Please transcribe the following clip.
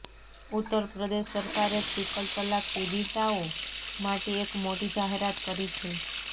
ઉત્તરપ્રદેશ સરકારે ત્રિપલ તલાક પીડિતાઓ માટે એક મોટી જાહેરાત કરી છે